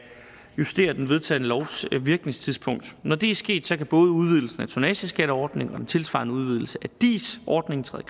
justere den vedtagne lovs virkningstidspunkt når det er sket kan både udvidelsen af tonnageskatteordningen og den tilsvarende udvidelse af dis ordningen træde